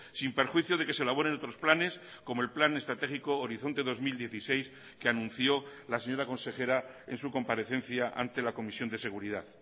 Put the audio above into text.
sin perjuicio de que se elaboren otros planes como el plan estratégico horizonte dos mil dieciséis que anunció la señora consejera en su comparecencia ante la comisión de seguridad